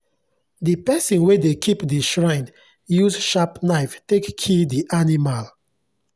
the person wey dey keep the shrine use sharp knife take kill the animal